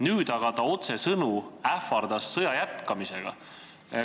Nüüd aga ähvardas ta otsesõnu sõja jätkamisega.